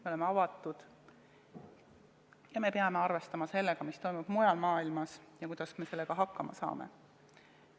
Me oleme avatud ja me peame arvestama sellega, mis toimub mujal maailmas ja mõtlema, kuidas me sellega hakkama saame.